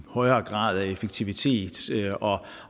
højere grad af effektivitet